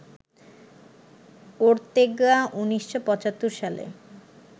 Ortega ১৯৭৫ সালে